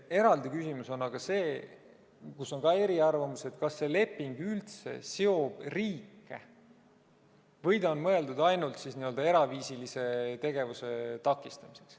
Eraldi küsimus on aga see – kus on ka eri arvamusi –, kas see leping üldse seob riike või see on mõeldud ainult n-ö eraviisilise tegevuse takistamiseks.